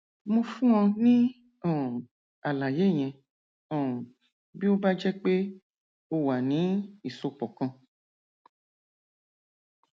mo fún ọ ní um àlàyé yẹn um bí ó bá jẹ pé ó wà ní ìsopọ kan